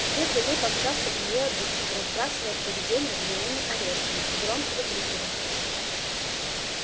вслед за ней помчался и её обидчик забрасывая привидение гнилыми орешками и громко выкрикивая